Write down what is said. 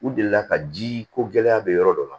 U delila ka ji ko gɛlɛya bɛ yɔrɔ dɔ la